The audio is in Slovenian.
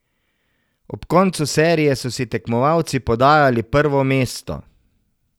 Ob koncu serije so si tekmovalci podajali prvo mesto.